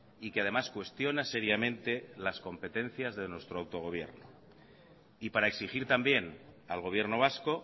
y que además cuestiona seriamente las competencias de nuestro autogobierno y para exigir también al gobierno vasco